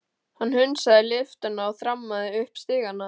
Hann hundsaði lyftuna og þrammaði upp stigana.